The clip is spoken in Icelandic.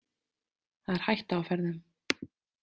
Það er hætta á ferðum.